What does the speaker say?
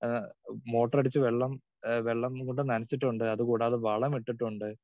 speaker 2 ആഹ് motor അടിച്ചു വെള്ളം ആഹ് വെള്ളം കൊണ്ട് നനച്ചിട്ടുണ്ട് അതുകൂടാതെ വളമിട്ടിട്ടുണ്ട്